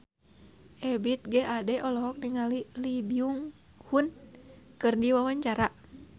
Ebith G. Ade olohok ningali Lee Byung Hun keur diwawancara